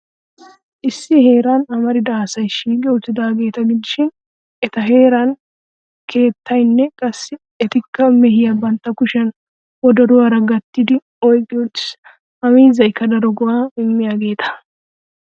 Issi heeran amarida asay shiiqi uttidaageeta gidishin eta heeran keettayinne qassi etikka mehiyaa bantta kushiya wodoruwaara gattidi oyqqi uttis. Ha miizzaykka daro go'aa immiyageeta.